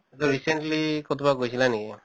তʼ recently কতোবা গৈছিলা নেকি?